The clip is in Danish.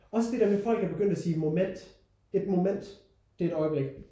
Også det der med folk er begyndt at sige moment et moment det er et øjeblik